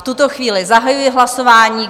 V tuto chvíli zahajuji hlasování.